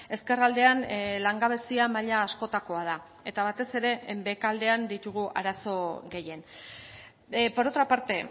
ezkerraldean langabezia maila askotakoa da eta batez ere behekaldean ditugu arazo gehien por otra parte